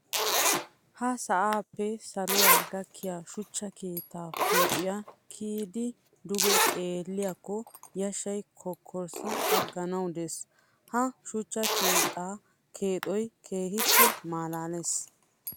Ha sa'appe saluwa gakkiya shuchcha keetta huuphiya kiyiddi duge xeelliyakko yashshay kokkorssi aganawu de'ees. Ha shuchcha keetta keexoykka keehippe malaales.